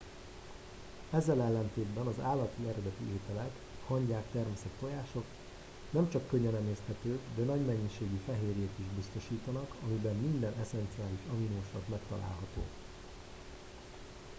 ezzel ellentétben az állati eredetű ételek hangyák termeszek tojások nem csak könnyen emészthetők de nagy mennyiségű fehérjét is biztosítanak amiben minden esszenciális aminosav megtalálható